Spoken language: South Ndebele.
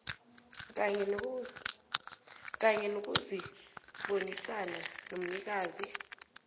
kanye nokubonisana nomnikazi